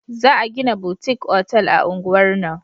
Za a gina butik otal a unguwar nan